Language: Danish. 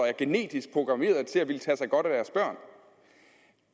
er genetisk programmeret til at ville tage sig godt af deres børn